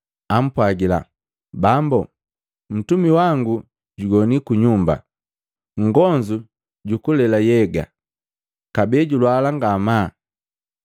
ampwagila, “Bambu, mtumi wangu jugoni kunyumba, nngonzu jukulela nhyega kabee julwala ngamaa.”